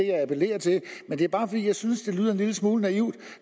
jeg appellerer til men det er bare fordi jeg synes at det lyder en lille smule naivt